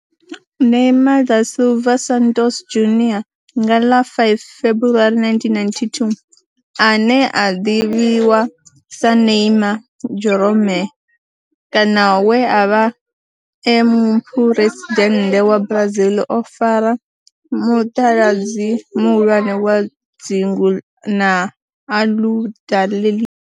Neymar da Silva Santos Junior, nga ḽa 5 February 1992, ane a ḓivhiwa sa Ne'ymar' Jeromme kana we a vha e muphuresidennde wa Brazil o fara mutaladzi muhulwane wa dzingu na Aludalelia.